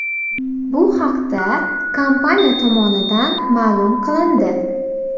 Bu haqda kompaniya tomonidan ma’lum qilindi .